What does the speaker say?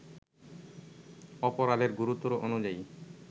অপরাধের গুরুত্ব অনুযায়ী